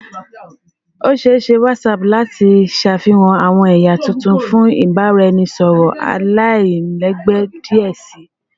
O ṣee ṣe WhatsApp lati ṣafihan awọn ẹya tuntun fun ibaraẹnisọrọ alailẹgbẹ diẹ sii